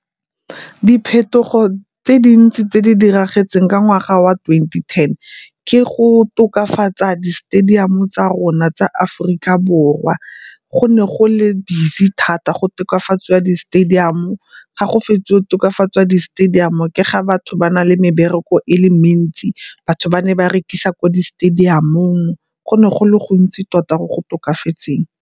Diphetogo tse dintsi tse di diragetseng ka ngwaga wa twenty ten ke go tokafatsa di-stadium tsa rona tsa Aforika Borwa. Go ne go le busy thata go tokafatsa di-stadium, ga go fetsa go tokafatsa di-stadium ke ga batho ba na le mebereko e le mentsi. Batho ba ne ba rekisa ko di stadium-ong, go ne go le gontsi tota mo go tokafatseng.